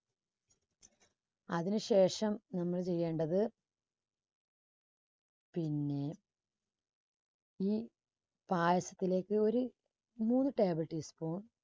അതിന് ശേഷം നമ്മൾ ചെയ്യേണ്ടത് പിന്നെ ഈ പായസത്തിലേക്ക് ഒരു മൂന്ന് tire teaspoon